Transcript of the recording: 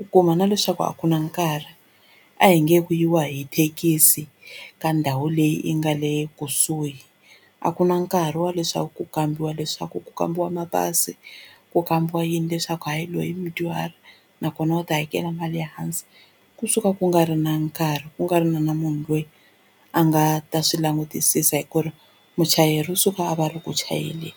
u kuma na leswaku a ku na nkarhi a hi nge ku yiwa hi thekisi ka ndhawu leyi yi nga le kusuhi a ku na nkarhi wa leswaku ku kambiwa leswaku ku kambiwa mapasi ku kambiwa yini leswaku hayi loyi i mudyuhari nakona u ta hakela mali ya hansi kusuka ku nga ri na nkarhi ku nga ri na na munhu loyi a nga ta swi langutisisa hi ku ri muchayeri u suka a va a ri ku chayeleni.